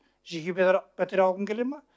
жеке пәтер алғың келе ма